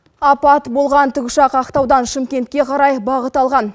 апат болған тікұшақ ақтаудан шымкентке қарай бағыт алған